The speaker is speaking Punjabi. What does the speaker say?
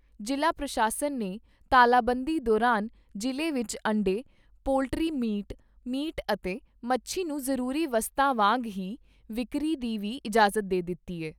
ਜ਼ਿਲ੍ਹਾ ਪ੍ਰਸ਼ਾਸਨ ਨੇ ਤਾਲਾਬੰਦੀ ਦੌਰਾਨ ਜ਼ਿਲ੍ਹੇ ਵਿੱਚ ਅੰਡੇ, ਪੋਲਟਰੀ ਮੀਟ, ਮੀਟ ਅਤੇ ਮੱਛੀ ਨੂੰ ਜ਼ਰੂਰੀ ਵਸਤਾਂ ਵਾਂਗ ਹੀ ਵਿਕਰੀ ਦੀ ਵੀ ਇਜਾਜ਼ਤ ਦੇ ਦਿੱਤੀ ਐ।